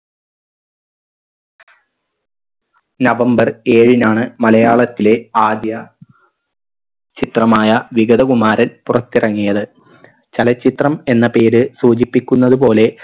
November ഏഴിനാണ് മലയാളത്തിലെ ആദ്യ ചിത്രമായ വിഗതകുമാരൻ പുറത്തിറങ്ങിയത് ചലച്ചിത്രം എന്ന പേര് സൂചിപ്പിക്കുന്നത് പോലെ